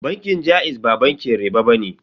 Bankin jaiz ba bankin riɓa bane.